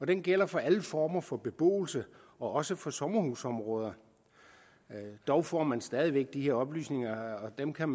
den gælder for alle former for beboelse og også for sommerhusområder dog får man stadig væk de her oplysninger og dem kan